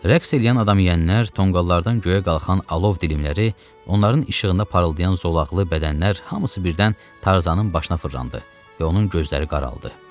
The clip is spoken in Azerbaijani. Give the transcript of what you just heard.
Rəqs eləyən adam yeyənlər tonqollardan göyə qalxan alov dilimləri, onların işığında parıldayan zolaqlı bədənlər hamısı birdən Tarzanın başına fırlandı və onun gözləri qaraldı.